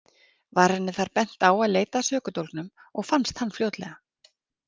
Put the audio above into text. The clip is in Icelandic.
Var henni þar bent á að leita að sökudólgnum og fannst hann fljótlega.